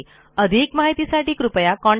अधिक माहीतीसाठी contactspoken tutorialorg ला लिहा